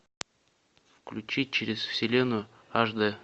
включи через вселенную аш д